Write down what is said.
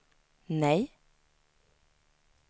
nej